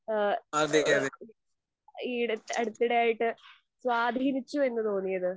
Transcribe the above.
ഏഹ് ഈ അടുത്തിടെയായിട്ട് സ്വാധീനിച്ചു എന്ന് തോന്നിയത്?